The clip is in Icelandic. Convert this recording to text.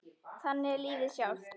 Þannig er lífið sjálft.